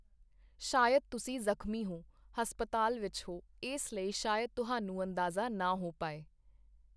ਸ਼ਾਇਦ ਤੁਸੀਂ ਜਖ਼ਮੀ ਹੋ, ਹਸਪਤਾਲ ਵਿੱਚ ਹੋ, ਇਸ ਲਈ ਸ਼ਾਇਦ ਤੁਹਾਨੂੰ ਅੰਦਾਜ਼ਾ ਨਾ ਹੋ ਪਾਏ।